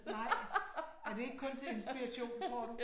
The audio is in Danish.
Nej. Er det ikke kun til inspiration, tror du?